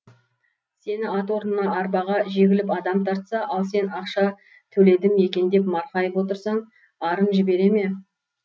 сені ат орнына арбаға жегіліп адам тартса ал сен ақша төледім екен деп марқайып отырсаң арың жібере ме